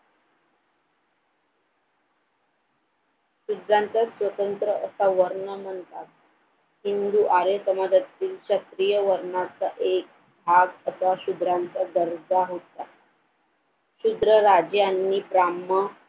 शूद्रांचा स्वतंत्र असा वर्ण म्हणता हिंदू आर्य समाज्यातील क्षत्रिय वर्णाचा एक भाग असा शूद्रांचा दर्जा होता शूद्र राजे यांनी